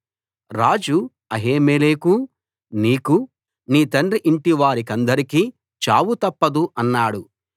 రాజు అహీమెలెకూ నీకూ నీ తండ్రి ఇంటివారికందరికీ చావు తప్పదు అన్నాడు